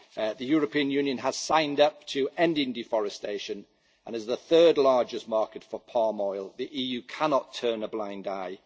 The European Union has signed up to ending deforestation and as the third largest market for palm oil the EU cannot turn a blind eye.